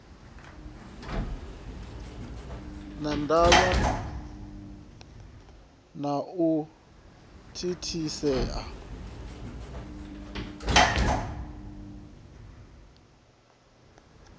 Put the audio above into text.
na ndavha na u thithisea